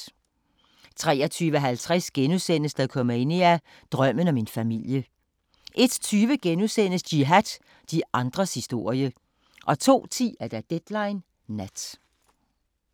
23:50: Dokumania: Drømmen om en familie * 01:20: Jihad – de andres historie * 02:10: Deadline Nat